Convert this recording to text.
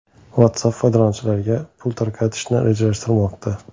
WhatsApp foydalanuvchilariga pul tarqatishni rejalashtirmoqda.